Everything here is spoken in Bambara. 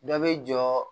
Dɔ bɛ jɔ